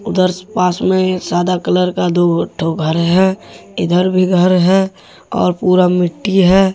ऊधर पास में सादा कलर का दो ठो घर है इधर भी घर है और पूरा मिट्टी है।